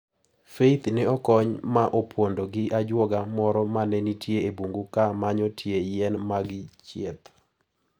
Faith ne okony ma opondo gi ajuoga moro mane nitie e bungu ka manyo tie yien mag chieth.